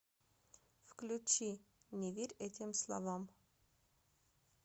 включи не верь этим словам